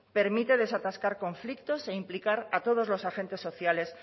permite desatascar conflictos e implicar a todos los agentes sociales